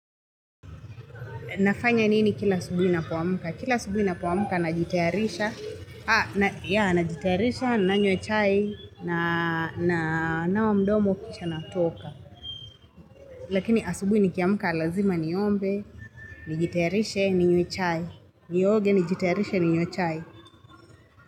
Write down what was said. Nafanya nini kila asubuhi napo amka? Kila asubuhi napo amka najitayarisha. Ha, ya, najitayarisha, na nywe chai, na wa mdomo kisha natoka. Lakini asubuhi nikiamuka lazima niombe, ni jitayarisha, ni nyue chai. Ni oge, ni jitayarisha, ni nyue chai.